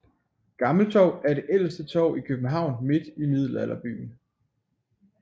Gammeltorv er det ældste torv i København midt i Middelalderbyen